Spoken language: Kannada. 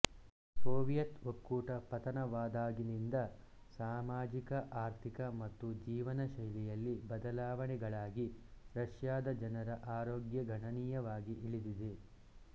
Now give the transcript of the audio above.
ಸೋವಿಯತ್ ಒಕ್ಕೂಟ ಪತನವಾದಾಗಿನಿಂದ ಸಾಮಾಜಿಕ ಆರ್ಥಿಕ ಮತ್ತು ಜೀವನಶೈಲಿಯಲ್ಲಿ ಬದಲಾವಣೆಗಳಾಗಿ ರಷ್ಯಾದ ಜನರ ಆರೋಗ್ಯ ಗಣನೀಯವಾಗಿ ಇಳಿದಿದೆ